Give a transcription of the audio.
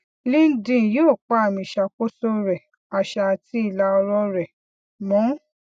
linkedin yóò pa amiìṣàkóso rẹ àṣà àti ìlàọrọ rẹ mọ